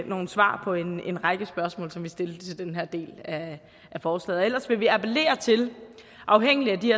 nogle svar på en en række spørgsmål som vi vil stille til den her del af forslaget og ellers vil vi appellere til afhængigt af de